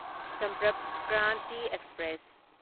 Sampark Kranti express